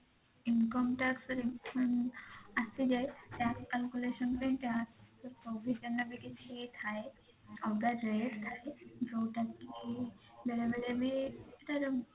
income tax ର refund ଆସିଯାଏ tax calculation ପାଇଁ tax provision ରେ ବି କିଛି ଥାଏ ଅଲଗା rate ଥାଏ ଯଉଟା କି ବେଳେ ବେଳେ ବି ତାର